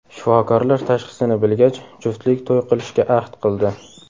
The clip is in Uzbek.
Shifokorlar tashxisini bilgach, juftlik to‘y qilishga ahd qildi.